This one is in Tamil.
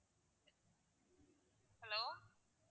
hello